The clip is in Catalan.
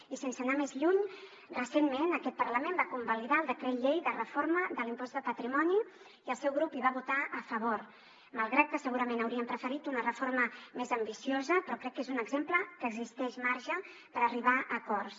i sense anar més lluny recentment aquest parlament va convalidar el decret llei de reforma de l’impost de patrimoni i el seu grup hi va votar a favor malgrat que segurament haurien preferit una reforma més ambiciosa però crec que és un exemple en què existeix marge per arribar a acords